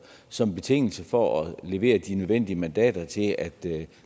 som betingelse for at levere de nødvendige mandater til at